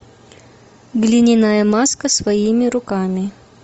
глиняная маска своими руками